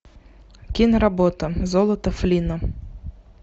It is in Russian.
киноработа золото флинна